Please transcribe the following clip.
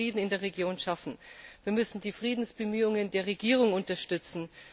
Wir müssen Frieden in der Region schaffen, wir müssen die Friedensbemühungen der Regierung unterstützen.